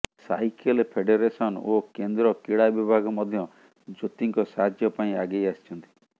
cycle federation ଓ କେନ୍ଦ୍ର କ୍ରୀଡା ବିଭାଗ ମଧ୍ୟ ଜ୍ୟୋତିଙ୍କ ସାହାଯ୍ୟ ପାଇଁ ଆଗେଇ ଆସିଛନ୍ତି